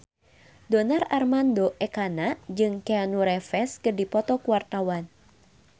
Donar Armando Ekana jeung Keanu Reeves keur dipoto ku wartawan